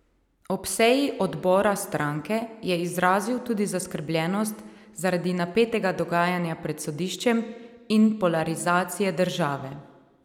Ob seji odbora stranke, je izrazil tudi zaskrbljenost zaradi napetega dogajanja pred sodiščem in polarizacije države.